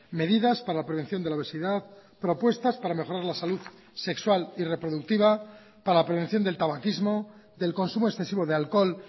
medidas para la prevención de la obesidad propuestas para mejorar la salud sexual y reproductiva para la prevención del tabaquismo del consumo excesivo de alcohol